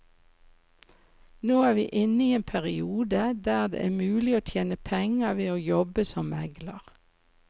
Nå er vi inne i en periode der det er mulig å tjene penger ved å jobbe som megler.